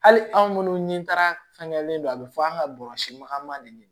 Hali anw minnu ni taara fɛngɛlen don a bɛ fɔ an ka bɔrɔsima de ɲini